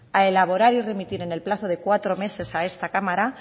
a elaborar y remitir en el plazo de cuatro meses a esta cámara